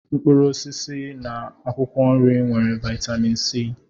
mkpụrụ osisi na akwụkwọ nri nwere vitamin C.